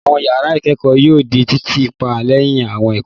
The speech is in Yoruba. Àwọn ìyàrá ìkẹ́kọ̀ọ́ yóò di títì pa lẹ́yìn àwọn ẹ̀kọ́.